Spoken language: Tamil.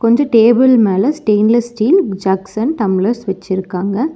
கொஞ்ச டேபிள் மேல stainless steel jugs and tumblers வெச்சுருக்காங்க.